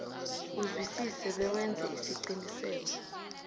uzwisise bewenze isiqiniseko